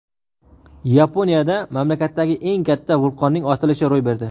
Yaponiyada mamlakatdagi eng katta vulqonning otilishi ro‘y berdi.